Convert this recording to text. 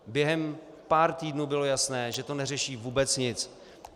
Během pár týdnů bylo jasné, že to neřeší vůbec nic.